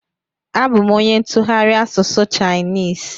Abụ m onye ntụgharị asụsụ Chainis